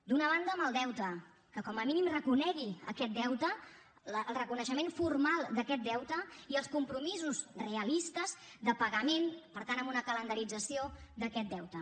d’una banda amb el deute que com a mínim reconegui aquest deute el reconeixement formal d’aquest deute i els compromisos realistes de pagament per tant amb una calendarització d’aquest deute